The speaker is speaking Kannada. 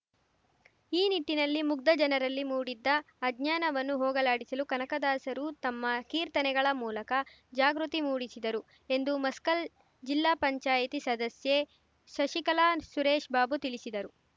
ಈ ನಿಟ್ಟಿನಲ್ಲಿ ಮುಗ್ಧ ಜನರಲ್ಲಿ ಮೂಡಿದ್ದ ಅಜ್ಞಾನವನ್ನು ಹೋಗಲಾಡಿಸಲು ಕನಕದಾಸರು ತಮ್ಮ ಕೀರ್ತನೆಗಳ ಮೂಲಕ ಜಾಗೃತಿ ಮೂಡಿಸಿದರು ಎಂದು ಮಸ್ಕಲ್‌ ಜಿಲ್ಲಾ ಪಂಚಾಯತಿ ಸದಸ್ಯೆ ಶಶಿಕಲಾ ಸುರೇಶ್‌ಬಾಬು ತಿಳಿಸಿದರು